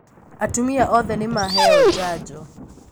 Atumia othe nīmaheo janjo